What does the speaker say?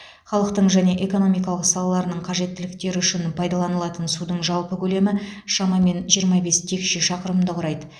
халықтың және экономика салаларының қажеттіліктері үшін пайдаланылатын судың жалпы көлемі шамамен жиырма бес текше шақырымды құрайды